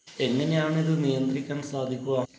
എങ്ങനെയാണിത് നിയന്ത്രിക്കാൻ സാധിക്കുക?